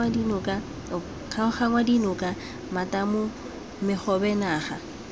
kgaoganngwa dinoka matamo megobe naga